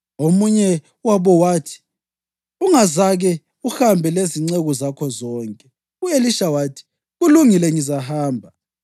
Omunye wabo wathi, “Ungazake uhambe lezinceku zakho na?” U-Elisha wathi, “Kulungile ngizahamba.”